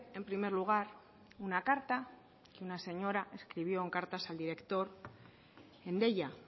en primer lugar una carta que una señora escribió en cartas al director en deia